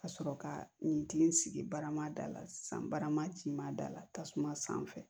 Ka sɔrɔ ka nin kilen sigi barama dala san barama ci ma da la tasuma sanfɛ